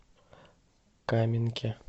каменке